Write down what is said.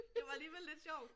Det var alligevel lidt sjovt